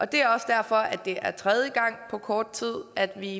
det er også derfor det er tredje gang på kort tid at vi